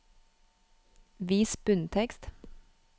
Vis bunntekst